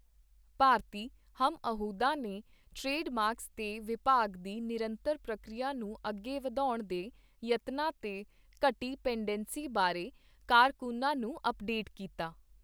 ਭਾਰਤੀ ਹਮਅਹੁਦਾ ਨੇ trade marks ਤੇ ਵਿਭਾਗ ਦੀ ਨਿਰੰਤਰ ਪ੍ਰਕਿਰਿਆ ਨੂੰ ਅੱਗੇ ਵਧਾਉਣ ਦੇ ਯਤਨਾਂ ਤੇ ਘਟੀ ਪੇਂਡੇਂਸੀ ਬਾਰੇ ਕਾਰਕੁੰਨਾਂ ਨੂੰ ਅਪਡੇਟ ਕੀਤਾ।